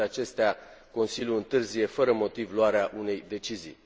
cu toate acestea, Consiliul întârzie fără motiv luarea unei decizii.